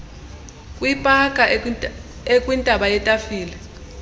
kwipaka ekwintaba yetafile